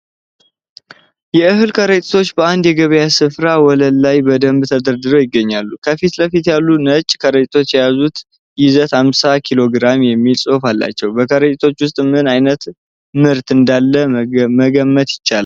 የእህል ከረጢቶች በአንድ የገበያ ስፍራ ወለል ላይ በደንብ ተደርድረው ይገኛሉ። ከፊት ለፊት ያሉት ነጭ ከረጢቶች የያዙት ይዘት 50 ኪ.ግ የሚል ጽሁፍ አላቸው። በከረጢቶቹ ውስጥ ምን ዓይነት ምርት (ሰብል) እንዳለ መገመት ይችላሉ?